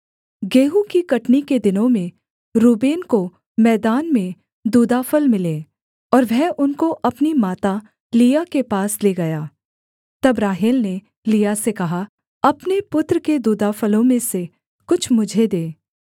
गेहूँ की कटनी के दिनों में रूबेन को मैदान में दूदाफल मिले और वह उनको अपनी माता लिआ के पास ले गया तब राहेल ने लिआ से कहा अपने पुत्र के दूदाफलों में से कुछ मुझे दे